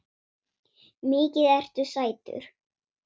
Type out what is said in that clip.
Mikið ertu sætur.